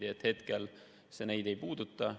Nii et hetkel see neid ei puuduta.